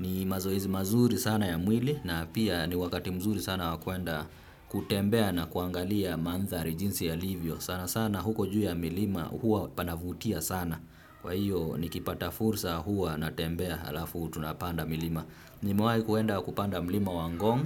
Ni mazoezi mazuri sana ya mwili na pia ni wakati mzuri sana wa kwenda kutembea na kuangalia mandhari jinsi yalivyo. Sana sana huko juu ya milima huwa panavutia sana. Kwa hiyo nikipata fursa huwa natembea halafu tunapanda milima. Nimewahi kuenda kupanda mlima wa ngong'.